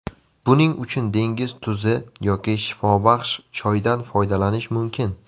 Buning uchun dengiz tuzi yoki shifobaxsh choydan foydalanish mumkin.